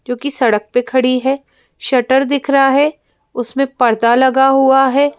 जो कि सड़क पर खड़ी है शटर दिख रहा है उसमें पर्दा लगा हुआ है।